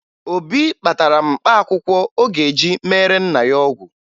Obi kpatara mkpaakwụkwọ ọ ga-eji meere nna ya ọgwụ